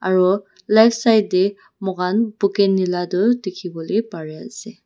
etu left side tae moi khan bukeni laga dekhivo lae pari ase.